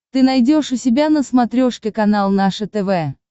ты найдешь у себя на смотрешке канал наше тв